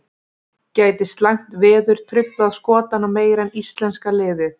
Gæti slæmt veður truflað Skotana meira en íslenska liðið?